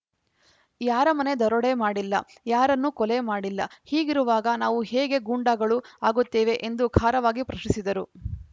ಯಾರ ಮನೆ ದರೋಡೆ ಮಾಡಿಲ್ಲ ಯಾರನ್ನು ಕೊಲೆ ಮಾಡಿಲ್ಲ ಹೀಗಿರುವಾಗ ನಾವು ಹೇಗೆ ಗೂಂಡಾಗಳು ಆಗುತ್ತೇವೆ ಎಂದು ಖಾರವಾಗಿ ಪ್ರಶ್ನಿಸಿದರು